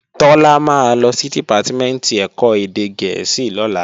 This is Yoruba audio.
Tọ́lá máa lọ sí Dìpátímẹ̀ntì ẹ̀kọ́ èdè gẹ̀ẹ́sì lọ́la